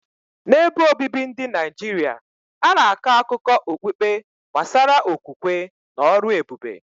N’ebe obibi ndị Naijiria, a na-akọ akụkọ okpukpe gbasara okwukwe na ọrụ ebube.